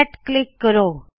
set click ਕਰੋ